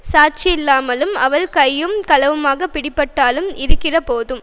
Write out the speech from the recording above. சாட்சியில்லாமலும் அவள் கையும் களவுமாகப் பிடிக்கப்படாமலும் இருக்கிறபோதும்